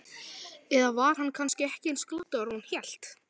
Eða var hann kannski ekki eins glataður og hann hélt?